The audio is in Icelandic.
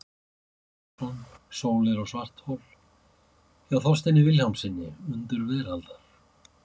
Gunnlaugur Björnsson, Sólir og svarthol, hjá Þorsteini Vilhjálmssyni, Undur veraldar.